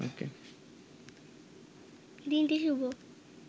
দিনটি শুভ